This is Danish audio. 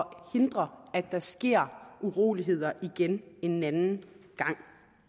hindre at der sker uroligheder igen en anden gang